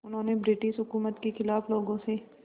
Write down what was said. उन्होंने ब्रिटिश हुकूमत के ख़िलाफ़ लोगों से